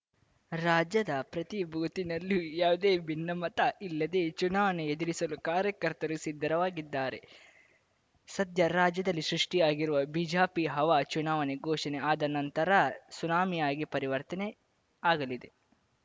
ರಾಜ್ಯದ ಪ್ರತಿ ಬೂತಿನಲ್ಲೂ ಯಾವುದೇ ಭಿನ್ನಮತ ಇಲ್ಲದೆ ಚುನಾವಣೆ ಎದುರಿಸಲು ಕಾರ್ಯಕರ್ತರು ಸಿದ್ಧರವಾಗಿದ್ದಾರೆ ಸದ್ಯ ರಾಜ್ಯದಲ್ಲಿ ಸೃಷ್ಟಿಯಾಗಿರುವ ಬಿಜಪಿ ಹವಾ ಚುನಾವಣೆ ಘೋಷಣೆ ಆದ ನಂತರ ಸುನಾಮಿಯಾಗಿ ಪರಿವರ್ತನೆ ಆಗಲಿದೆ